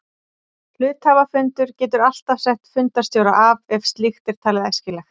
Hluthafafundur getur alltaf sett fundarstjóra af ef slíkt er talið æskilegt.